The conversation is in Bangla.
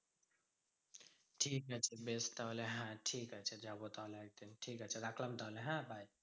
ঠিক আছে বেশ তাহলে হ্যাঁ ঠিক আছে যাবো তাহলে একদিন। ঠিকাছে রাখলাম তাহলে হ্যাঁ? bye.